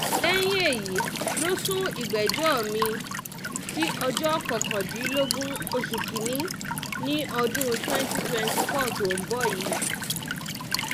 lẹ́yìn èyí ló sún ìgbẹ́jọ́ mi-ín sí ọjọ́ kọkàndínlógún oṣù kín-ín-ní ọdún twenty twenty four tó ń bọ̀ yìí